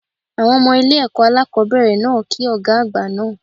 Àwọn Ọmọ ilé èkó alákòóbèrè náà ki Ògá àgbà naa